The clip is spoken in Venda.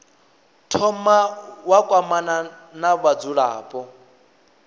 thoma wa kwamana na vhadzulapo